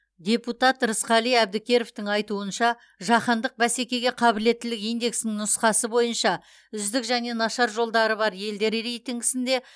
депутат рысқали әбдікеровтің айтуынша жаһандық бәсекеге қабілеттілік индексінің нұсқасы бойынша үздік және нашар жолдары бар елдер рейтингісінде